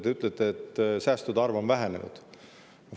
Te ütlete, et säästude arv on vähenenud.